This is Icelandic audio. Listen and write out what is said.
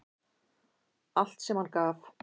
Allt sem hann gaf.